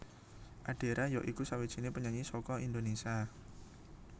Adera ya iku sawijiné penyanyi saka Indonésia